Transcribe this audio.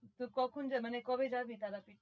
তোরা কখন যাবি মানে কবে যাবি তারাপীঠ?